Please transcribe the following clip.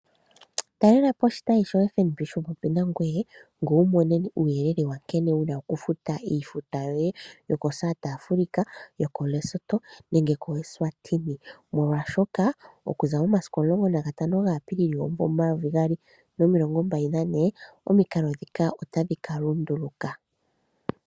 Talela po oshitayi shono shi li popepi nangoye ngoye wu mone uuyelele nkene wu na okufuta iifuta yoye yokoSouth Africa, Lesotho nengeEswatini molwashoka okuza momasiku 15 Apilili 2024 omikalo dhika otadhi ka lunduluka.